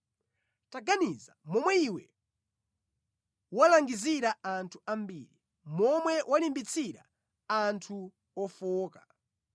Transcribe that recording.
Taganiza momwe iwe walangizira anthu ambiri, momwe walimbitsira anthu ofowoka.